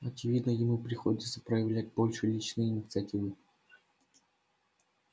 очевидно ему приходится проявлять больше личной инициативы